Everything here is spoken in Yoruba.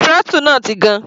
Throttle náà ti gan.